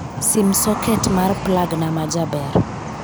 Sim soket mar plagna majaber